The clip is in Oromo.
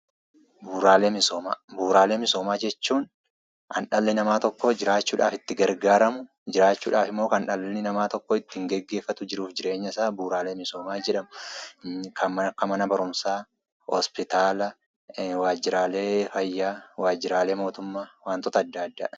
Bu'uuraalee misooma; bu'uuraalee misoomaa jechuun kan dhalli namaa tokko jiraachuuf itti gargaaramu , jiraachuudhaafimmoo kan dhalli namaa tokko geggeefatu jiruuf jireenyasaa bu'uuraalee misoomaa jedhamu. Kan akka mana barumsaa hospitaala waajiraalee fayyaa waajiralee mootummaa wantoota adda addaa.